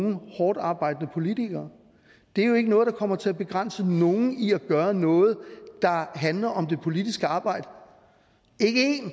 nogen hårdtarbejdende politikere det er jo ikke noget der kommer til at begrænse nogen i at gøre noget der handler om det politiske arbejde ikke en